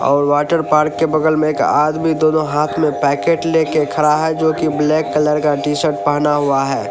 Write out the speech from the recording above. और water park के बगल में एक आदमी दोनों हाथ में पैकेट लेके खड़ा है जो कि ब्लैक कलर का टी शर्ट पहना हुआ है।